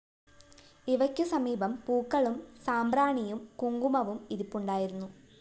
ഇവയ്ക്കു സമീപം പൂക്കളും സാമ്പ്രാണിയും കുങ്കുമവും ഇരിപ്പുണ്ടായിരുന്നു